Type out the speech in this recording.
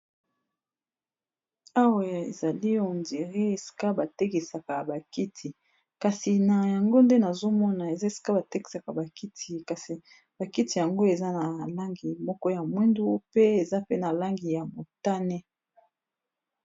Awa eza esika batekisaka bakiti kasi nazomona bazotekisa bakiti kasi bakiti yango eza na langi moko ya mwindu pe eza pe na langi ya motane.